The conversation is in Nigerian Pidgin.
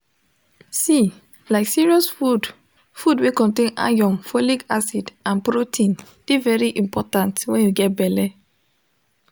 see like serious food food wey contain iron folic acid and protein de very important when you get belle